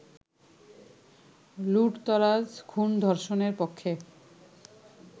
লুঠতরাজ-খুন-ধর্ষণের পক্ষে